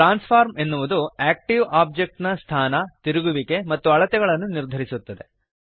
transform ಎನ್ನುವುದು active object ನ ಸ್ಥಾನ ತಿರುಗುವಿಕೆ ಮತ್ತು ಅಳತೆಗಳನ್ನು ನಿರ್ಧರಿಸುತ್ತದೆ